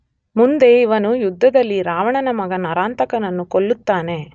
ಮುಂದೆ ಇವನು ಯುದ್ಧದಲ್ಲಿ ರಾವಣನ ಮಗ ನರಾಂತಕನನ್ನು ಕೊಲ್ಲುತ್ತಾನೆ.